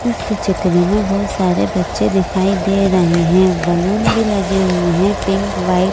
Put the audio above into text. इस चित्र में बहुत सारे बच्चे दिखाई दे रहे हैं बलून भी लगे हुए हैं पिंक वाइट ।